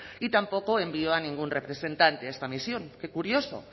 y tampoco envió a ningún representante a esta misión qué curioso